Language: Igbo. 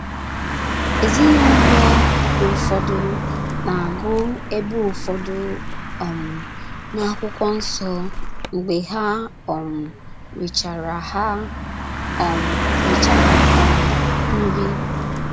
Ezinụlọ ụfọdụ na - agụ ebe ụfọdụ um n'akwụkwọ nsọ mgbe ha um richara ha um richara um nri